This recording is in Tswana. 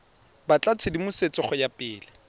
batla tshedimosetso go ya pele